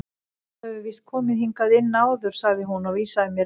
Þú hefur víst komið hingað inn áður sagði hún og vísaði mér inn.